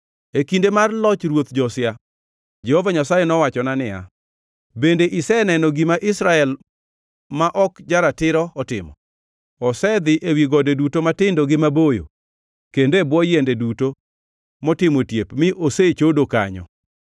E kinde mar loch Ruoth Josia, Jehova Nyasaye nowachona niya, “Bende iseneno gima Israel ma ok ja-ratiro otimo? Osedhi ewi gode duto matindo maboyo kendo e bwo yiende duto motimo otiep mi osechodo kanyo.